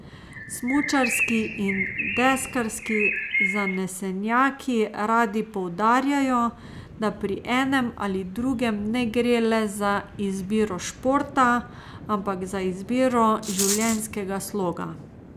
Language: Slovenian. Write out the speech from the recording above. Smučarski in deskarski zanesenjaki radi poudarjajo, da pri enem ali drugem ne gre le za izbiro športa, ampak za izbiro življenjskega sloga.